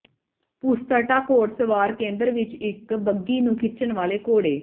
ਪੁਸਤਟਾ ਘੋੜ ਸਵਾਰ ਕੇਂਦਰ ਵਿਚ ਇਕ ਬੱਘੀ ਨੂੰ ਖਿੱਚਣ ਵਾਲੇ ਘੋੜੇ